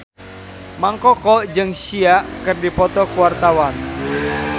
Mang Koko jeung Sia keur dipoto ku wartawan